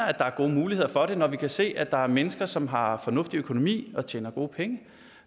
at der er gode muligheder for det når vi kan se at der er mennesker som har fornuftig økonomi og tjener gode penge